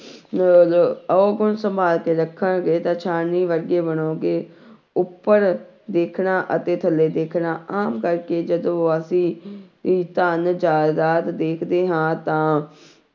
ਔਗੁਣ ਸੰਭਾਲ ਕੇ ਰੱਖਾਂਗੇ ਤਾਂ ਛਾਨਣੀ ਵਰਗੇ ਬਣਾਂਗੇ ਉੱਪਰ ਦੇਖਣਾ ਅਤੇ ਥੱਲੇ ਦੇਖਣਾ, ਆਮ ਕਰਕੇ ਜਦੋਂ ਅਸੀਂ ਸੀਂ ਧਨ ਜ਼ਾਇਦਾਦ ਦੇਖਦੇ ਹਾਂ ਤਾਂ